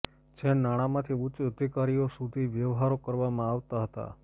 જે નાણાંમાંથી ઉચ્ચ અધિકારીઓ સુધી વ્યવહારો કરવામાં આવતા હતા